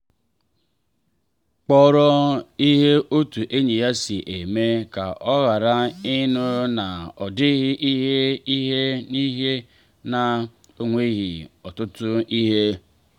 kpọrọ ihe otú enyi ya si eme ka ọ ghara ịnụ na ọ dịghị ihe ihe n’ihi na o nweghị ọtụtụ ihe.